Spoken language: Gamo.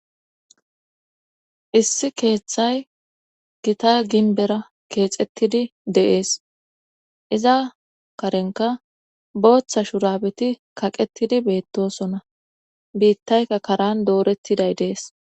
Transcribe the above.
issi keeththay gita ginbera keexettidi de'ees iza karenka booththa shuraabeti kaqettidi beettosona biittayka karan doorettiday dees